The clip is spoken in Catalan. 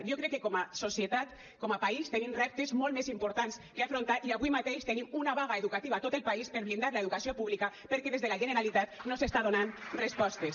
jo crec que com a societat com a país tenim reptes molt més importants que afrontar i avui mateix tenim una vaga educativa a tot el país per blindar l’educació pública perquè des de la generalitat no s’hi està donant respostes